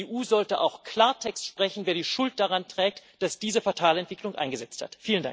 Und die EU sollte auch Klartext sprechen, wer die Schuld daran trägt, dass diese fatale Entwicklung eingesetzt hat.